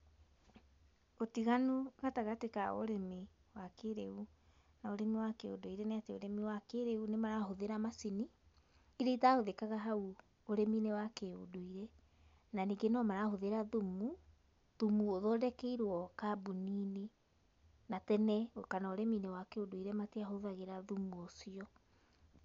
Ũtiganu gatagatĩ ka ũrĩmi wa kĩrĩu na ũrĩmi wa kĩũndũire nĩ atĩ ũrĩmi wa kĩrĩu ni marahũthĩra macini, iria itahũthĩkaga hau ũrĩminĩ wa kĩũndũire, na ningĩ no marahũthĩra thumu thumu ũthondekeirwo kambũni-inĩ, na tene kana ũrĩmi-inĩ wa kĩũndũire matiahũthagira thumu ũcio.